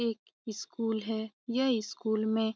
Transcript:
एक स्कूल है यह स्कूल में --